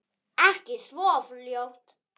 Ekki svo fljótt.